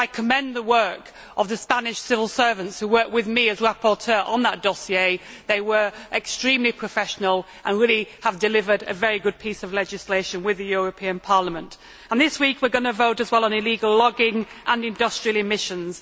I would like to commend the work of the Spanish civil servants who worked with me as rapporteur on that dossier. They were extremely professional and really have delivered a very good piece of legislation with the European Parliament. This week, we are also going to vote on illegal logging and industrial emissions.